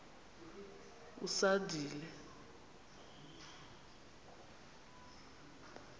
usandile